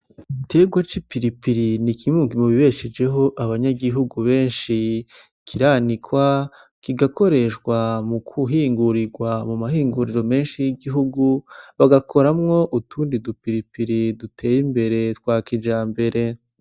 Igiterwa c'ipiripiri ni kimwe mu bishejeho abanyagihugu benshi, kiranikwa kigakoreshwa mu kuhingurirwa mu ma hinguriro menshi y'igihugu. Bagakoramwo utundi du piripiri duteye imbere twa kijambere.